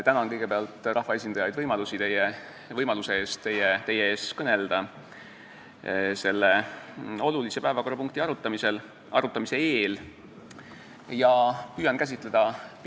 Tänan kõigepealt rahvaesindajaid võimaluse eest selle olulise päevakorrapunkti arutamise eel teie ees kõnelda.